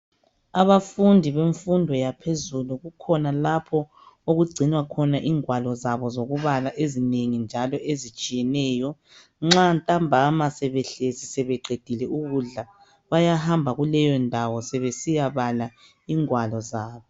Abafundi bemfundo yaphezulu kukhona lapho okugcinwa khona ingwalo zabo zokubala ezinengi njalo ezitshiyeneyo nxa ntambama sebehlezi sebeqedile ukudla bayahamba kuleyondawo sebesiyabala ingwalo zabo.